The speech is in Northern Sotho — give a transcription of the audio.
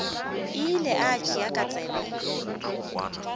ile a tšea ka tsebe